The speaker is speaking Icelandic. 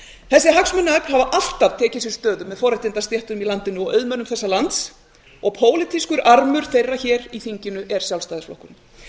þessi hagsmunaöfl hafa alltaf tekið sér stöðu með forréttindastéttum í landinu og auðmönnum þessa lands og pólitískur armur þeirra hér í þinginu er sjálfstæðisflokkurinn